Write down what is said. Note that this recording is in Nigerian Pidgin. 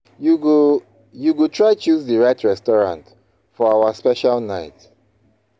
You go You go try choose di right restaurant for our special night.